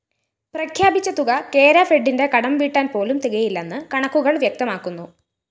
പ്രഖ്യാപിച്ച തുക കേരഫെഡിന്റെ കടംവീട്ടാന്‍ പോലും തികയില്ലെന്ന് കണക്കുകള്‍ വ്യക്തമാക്കുന്നു